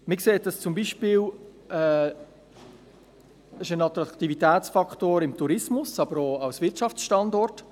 Dies ist zum Beispiel ein Attraktivitätsfaktor für den Tourismus, aber auch für den Wirtschaftsstandort.